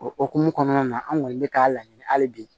O hokumu kɔnɔna na an kɔni bɛ k'a laɲini hali bi